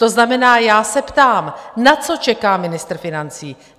To znamená, já se ptám, na co čeká ministr financí?